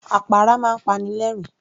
Àpárá máa ń pani lẹ̀ẹ́rín